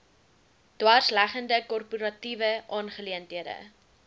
dwarsleggende korporatiewe aangeleenthede